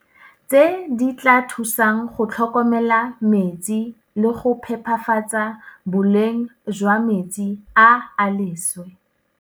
tse di tla thusang go tlhokomela metsi le go phepafatsa boleng jwa metsi a a leswe.